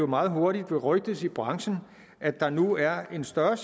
meget hurtigt vil rygtes i branchen at der nu er en større